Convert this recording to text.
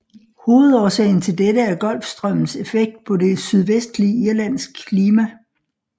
Hovedårsagen til dette er Golfstrømmens effekt på det sydvestlige Irlands klima